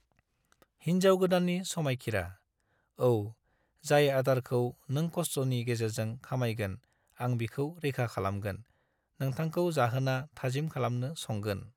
हिन्जाव गोदाननि समायखिरा: औ, जाय आदारखौ नों खस्टनि गेजेरजों खामायगोन, आं बिखौ रैखा खालामगोन, नोंथांखौ जाहोना थाजिम खालामनो संगोन।